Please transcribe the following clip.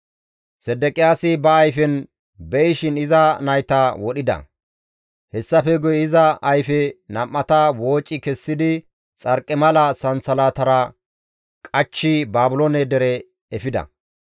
Sedeqiyaasi ba ayfen be7ishin iza nayta wodhida; hessafe guye iza ayfe nam7ata wooci kessidi xarqimala sansalatara qachchi Baabiloone dere efida.